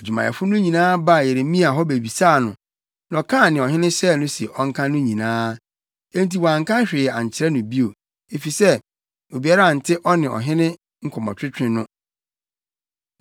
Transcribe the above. Adwumayɛfo no nyinaa baa Yeremia hɔ bebisaa no, na ɔkaa nea ɔhene hyɛɛ no se ɔnka no nyinaa. Enti wɔanka hwee ankyerɛ no bio, efisɛ obiara ante ɔne ɔhene nkɔmmɔtwetwe no.